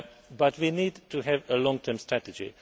But we need to have a long term strategy.